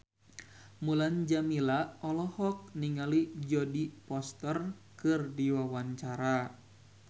Mulan Jameela olohok ningali Jodie Foster keur diwawancara